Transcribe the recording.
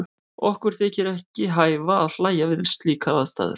Okkur þykir ekki hæfa að hlæja við slíkar aðstæður.